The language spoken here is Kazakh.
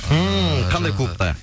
ммм қандай клубта